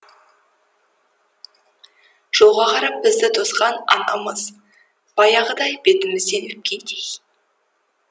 жолға қарап бізді тосқан анамыз баяғыдай бетімізден өпкендей